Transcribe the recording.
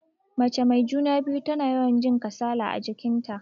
Mace mai juna-biyu tana yawan jin kasala a jikin ta.